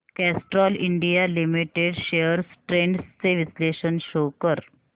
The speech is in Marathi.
Castrol India limited shares trends चे विश्लेषण शो कर